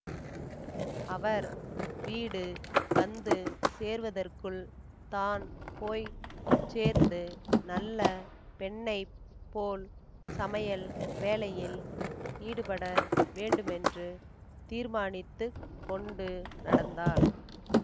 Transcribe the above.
அவர் வீடு வந்து சேருவதற்குள் தான் போய் சேர்ந்து நல்ல பெண்ணை போல் சமையல் வேலையில் ஈடுபட வேண்டுமென்று தீர்மானித்து கொண்டு நடந்தாள்